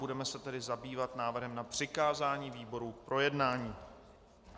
Budeme se tedy zabývat návrhem na přikázání výboru k projednání.